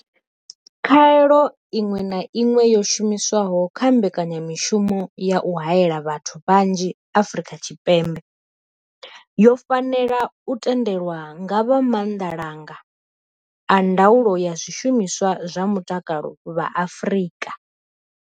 Khaelo iṅwe na iṅwe yo shumiswaho kha mbekanya mushumo ya u haela vhathu vhanzhi Afrika Tshipembe yo fanela u tendelwa nga vha Maanḓa langa a Ndaulo ya Zwishumiswa zwa Mutakalo vha Afrika.